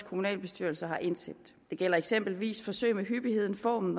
kommunalbestyrelser har indsendt det gælder eksempelvis forsøg med hyppigheden formen